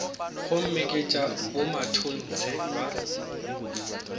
gomme ke tša bomatontshe ba